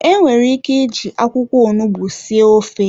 Enwere ike iji akwụkwọ onugbu sie ofe.